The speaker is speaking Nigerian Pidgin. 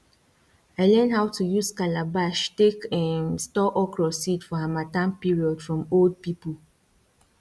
i learn how to use calabash take um store okro seed for harmattan period from old pipo